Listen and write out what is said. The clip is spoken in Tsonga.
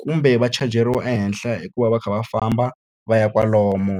kumbe va chajiwa ehenhla hikuva va kha va famba va ya kwalomu.